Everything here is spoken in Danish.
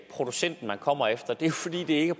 producenten man kommer efter det er fordi det ikke